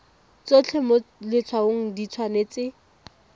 tsotlhe mo letshwaong di tshwanetse